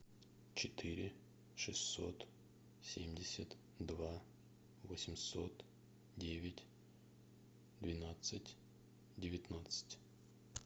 четыре шестьсот семьдесят два восемьсот девять двенадцать девятнадцать